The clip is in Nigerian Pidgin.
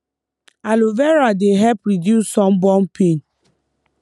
aloe vera dey help reduce sunburn pain